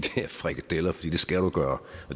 frikadeller for det skal du gøre